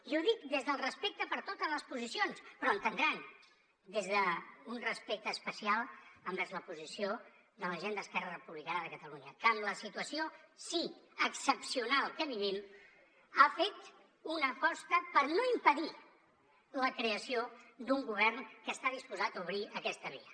i ho dic des del respecte per totes les posicions però ho entendran des d’un respecte especial envers la posició de la gent d’esquerra republicana de catalunya que amb la situació sí excepcional que vivim ha fet una aposta per no impedir la creació d’un govern que està disposat a obrir aquesta via